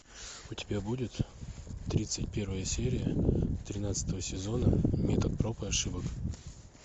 у тебя будет тридцать первая серия тринадцатого сезона метод проб и ошибок